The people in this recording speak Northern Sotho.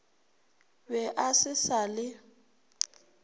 be a se sa le